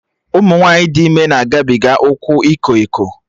Ụmụ nwaanyị dị ime na-agabiga ụkwụ iko eko